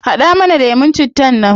Hada mana lemun cittan nan